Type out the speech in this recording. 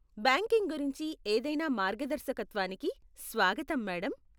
Backing గురించి ఏదైనా మార్గాదర్శకత్వానికి స్వాగతం, మేడం.